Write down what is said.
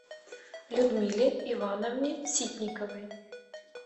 людмиле ивановне ситниковой